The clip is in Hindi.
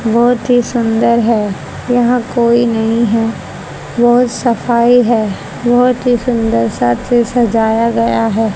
बहोत ही सुंदर है यहां कोई नहीं है बहोत सफाई है बहोत ही सुंदरता से सजाया गया है।